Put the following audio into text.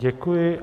Děkuji.